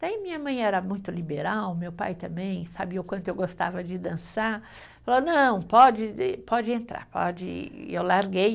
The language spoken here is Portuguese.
Daí minha mãe era muito liberal, meu pai também, sabia o quanto eu gostava de dançar, falou, não, pode, pode entrar, pode, e eu larguei.